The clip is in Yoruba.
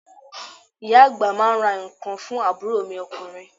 Ìyá àgbà máa ń ra ǹkan fún àbúrò mi ọkùnrin.